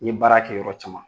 I ye baara kɛ yɔrɔ caman